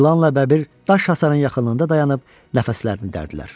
İlanla Bəbir daş hasarın yaxınlığında dayanıb nəfəslərini dərirdilər.